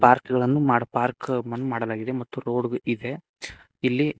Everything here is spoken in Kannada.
ಪಾರ್ಕುಗಳನ್ನು ಮಾಡ್ ಪಾರ್ಕ್ ಮುಂದ್ ಮಾಡಲಾಗಿದೆ ಮತ್ತು ರೋಡ್ ಇದೆ ಇಲ್ಲಿ--